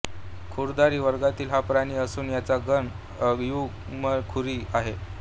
खुरधारी वर्गातील हा प्राणी असून याचा गण अयुग्मखुरी आहे